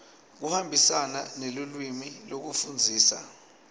kuhambisana nelulwimi lekufundzisa